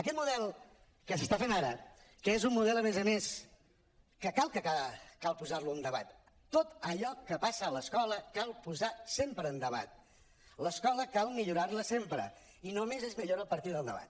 aquest model que s’està fent ara que és un model a més a més que clar que cal posar lo en debat tot allò que passa a l’escola cal posar ho sempre en debat l’escola cal millorar la sempre i només es millora a partir del debat